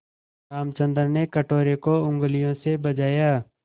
रामचंद्र ने कटोरे को उँगलियों से बजाया